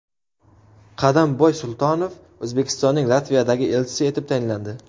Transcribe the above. Qadamboy Sultonov O‘zbekistonning Latviyadagi elchisi etib tayinlandi.